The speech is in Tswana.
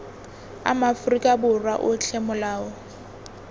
a maaforika borwa otlhe molao